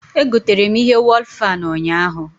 Egotere m ihe wọl fan ụnyaahụ